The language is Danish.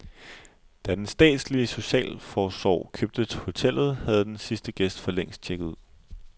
Da den statslige socialforsorg købte hotellet, havde den sidste gæst forlængst checket ud.